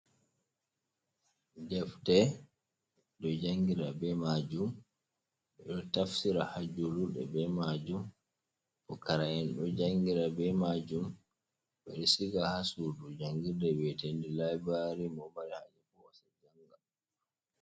Defte ɗo jangira be majum, ɗo tafsira hajulurɗe be majum, pukara’en ɗo jangira be majum, ɓeɗo siga ha sudu jangirde we'etendu liburari mo mari haje pot hosa janga.